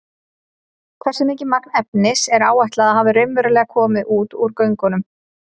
Hversu mikið magn efnis er áætlað að hafi raunverulega komið út úr göngunum?